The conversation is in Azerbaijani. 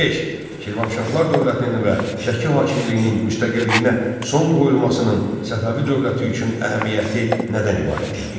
Şirvanşahlar dövlətinin və Şəki hakimliyinin müstəqilliyinə son qoyulmasının Səfəvi dövləti üçün əhəmiyyəti nədən ibarət idi?